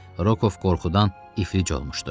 Roku qorxudan iflic olmuşdu.